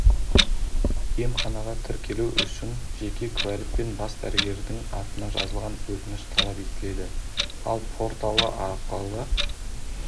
емханаға тіркелу үшін жеке куәлік пен бас дәрігердің атына жазылған өтініш талап етіледі ал порталы арқылы